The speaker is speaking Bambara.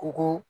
Kɔgɔ